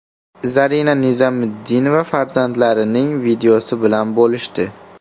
Zarina Nizomiddinova farzandlarining videosi bilan bo‘lishdi.